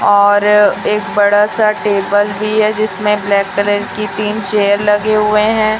और एक बड़ा सा टेबल भी है जिसमें ब्लैक कलर की तीन चेयर लगे हुए हैं।